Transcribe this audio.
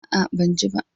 A'a, ban ji ba.